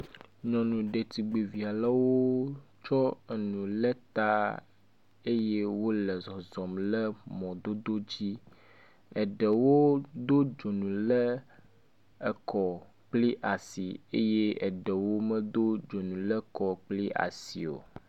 Nyɔnu ɖetugbvi aɖe wo tsɔ enu le ta eye wo le zɔzɔm le mɔdodo dzi. eɖewo do dzonu ɖe ekɔ kple asi eye eɖewo medo dzonu ɖe ekɔ kple asi o.